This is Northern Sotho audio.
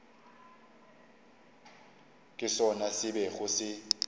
ke sona se bego se